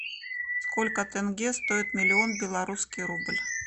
сколько тенге стоит миллион белорусский рубль